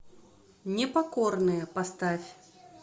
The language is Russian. непокорные поставь